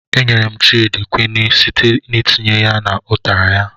E nyere m Child kwinin site n'itinye ya n' ụtara ya.